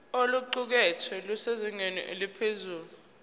oluqukethwe lusezingeni eliphezulu